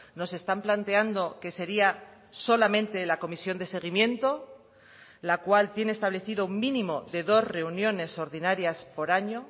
nos están planteando que sería solamente la comisión de seguimiento la cual tiene establecido un mínimo de dos reuniones ordinarias por año